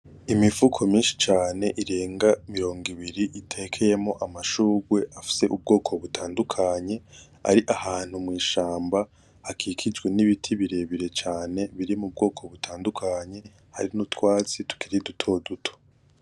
Imifuko myinshi cane irenga mirongo ibiri itekeyemwo amashurwe afise ubwoko butandukanye, ari ahantu mw'ishamba hakikijwe n'ibiti birebire cane biri mu bwoko butandukanye hari n'utwatsi tukiri dutoduto.